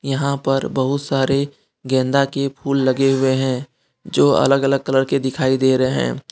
यहां पर बहुत सारे गेंदा के फूल लगे हुए हैं जो अलग अलग कलर के दिखाई दे रहे हैं।